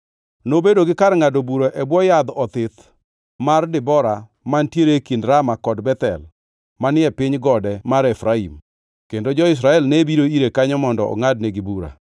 Nobedo gi kar ngʼado bura e bwo Yadh Othith mar Debora mantiere kind Rama kod Bethel manie piny gode mar Efraim, kendo jo-Israel ne biro ire kanyo mondo ongʼadnegi bura.